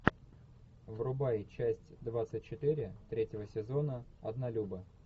врубай часть двадцать четыре третьего сезона однолюбы